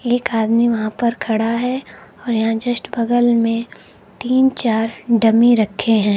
एक आदमी वहां पर खड़ा है और यहां जस्ट बगल में तीन चार डमी रखे हैं।